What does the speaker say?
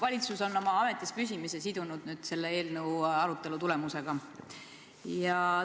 Valitsus on oma ametis püsimise sidunud selle eelnõu arutelu tulemusega.